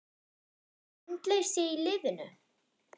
Var andleysi í liðinu?